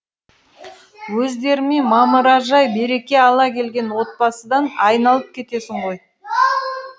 өздерімен мамыражай береке ала келген отбасыдан айналып кетесің ғой